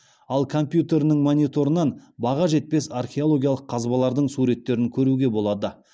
ал компьютерінің мониторынан баға жетпес археологиялық қазбалардың суреттерін көруге болады